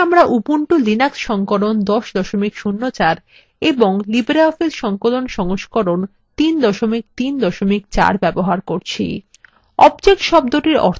এখানে আমরা Ubuntu Linux সংস্করণ 1004 এবং libreoffice সংকলন সংস্করণ 334 ব্যবহার করছি